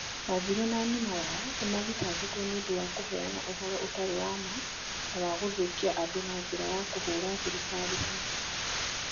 wanjiru na nyina o nao nĩ mathitangirwo nĩ ũndũ wa kũheana ũhoro ũtarĩ wa ma na wa gũthũkia andũ na njĩra ya kũhũũra thirikari hinya.